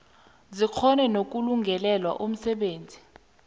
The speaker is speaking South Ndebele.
zikghone nokulungelela umsebenzi